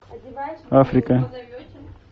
африка